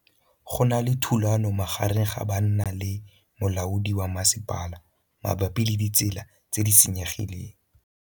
Go na le thulanô magareng ga banna le molaodi wa masepala mabapi le ditsela tse di senyegileng.